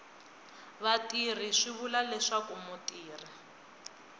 vatirhi swi vula leswaku mutirhi